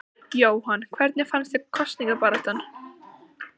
Jóhann: Hvernig fannst þér kosningabaráttan?